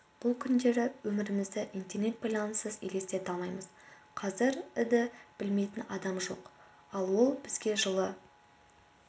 бұл күндері өмірімізді интернет байланыссыз елестете алмаймыз қазір і-ді білмейтін адам жоқ ал ол бізге жылы